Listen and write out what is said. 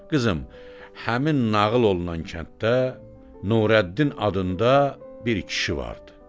Qızım, həmin nağıl olunan kənddə Nurəddin adında bir kişi vardı.